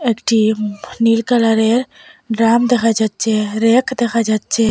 একটি উম নীল কালারের ড্রাম দেখা যাচ্চে রেক দেখা যাচ্চে।